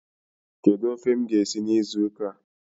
Kedu ofe m ga-esi n'izu ụka a?